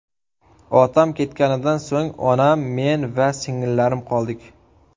Otam ketganidan so‘ng onam, men va singillarim qoldik.